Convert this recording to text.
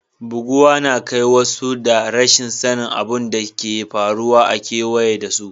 Buguwa na kai wasu ga rashin sani abun da ke faruwa a keweye da su.